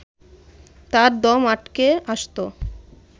তার দম আটকে আসত